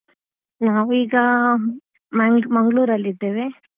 ನಾವೀಗ Mangalore Mangalore ಅಲ್ಲಿ ಇದ್ದೇವೆ.